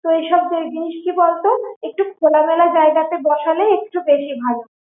তো এইসব জিনিস কি বলতো একটু খোলা মেলা জায়গা তে বসালে একটু ভালো